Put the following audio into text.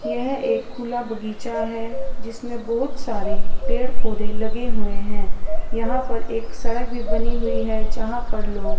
यह एक खुला बगीचा है जिसमें बहोत सारे पेड़ पौधे लगे हुए हैं यहां पर एक सड़क भी बनी हुई है जहां पर लोग--